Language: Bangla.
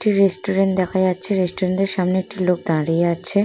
একটি রেস্টুরেন্ট দেখা যাচ্ছে রেস্টুরেন্ট -এর সামনে একটি লোক দাঁড়িয়ে আছে।